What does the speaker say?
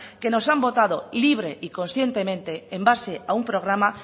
que nos han votado libre y conscientemente en base a un programa